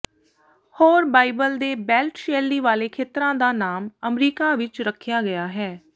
ਹੋਰ ਬਾਈਬਲ ਦੇ ਬੇਲਟ ਸ਼ੈਲੀ ਵਾਲੇ ਖੇਤਰਾਂ ਦਾ ਨਾਮ ਅਮਰੀਕਾ ਵਿੱਚ ਰੱਖਿਆ ਗਿਆ ਹੈ